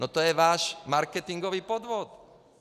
No to je váš marketingový podvod!